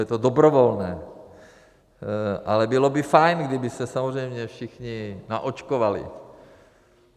Je to dobrovolné, ale bylo by fajn, kdyby se samozřejmě všichni naočkovali.